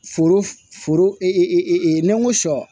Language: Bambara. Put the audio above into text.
Foro foro ni n ko sɔ